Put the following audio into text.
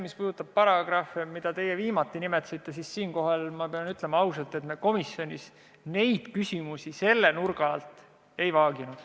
Mis puudutab paragrahve, mida te nimetasite, siis siinkohal pean ma ausalt ütlema, et komisjonis me neid küsimusi selle nurga alt ei vaaginud.